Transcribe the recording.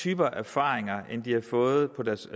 typer af erfaringer end de har fået på deres